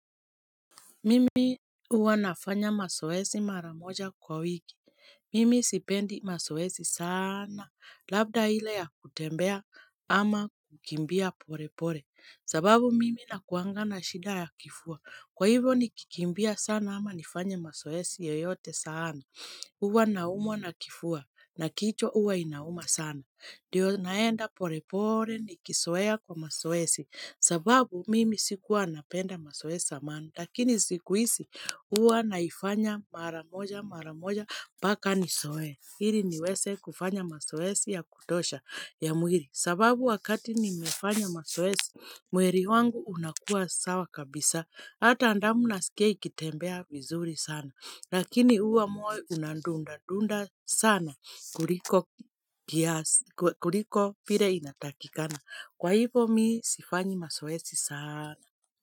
Mimi uwa nafanya masoesi mara moja kwa wiki. Mimi sipendi masoesi sana. Labda ile ya kutembea ama kukimbia pore pore. Sababu mimi na kuanga na shida ya kifua. Kwa hivo nikikimbia sana ama nifanya masoesi yoyote saana. Uwa naumwa na kifua na kichwa uwa inauma sana. Dio naenda pore pore ni kisoea kwa masoesi. Sababu mimi sikuwa napenda masoesi samani. Lakini sikuisi uwa naifanya maramoja maramoja mbaka ni soe, Hili niweze kufanya masoesi ya kutosha ya mwiri, sababu wakati nimefanya masoesi mweri wangu unakua sawa kabisa, Hata ndamu nasikia ikitembea vizuri sana, Lakini huwa moyo unadunda dunda sana kuliko kuliko pire inatakikana, Kwa hivyo mi sifanyi masoesi saana.